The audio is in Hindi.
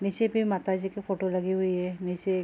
नीचे पे माताजी की फोटो लगी हुई है नीचे एक --